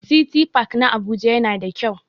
City park na Abuja yana da kyau.